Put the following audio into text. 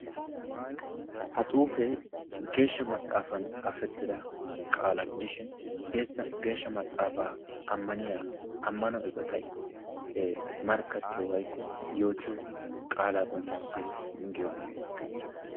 Ha xuufee geeshsha maxaafan xaafettida qaalaa gidishin geessa geeshshaa maxaafaa amanniya ammano eqqotay markkatyiyo woykko yoottiyo qaalaa qonccissees giyoga.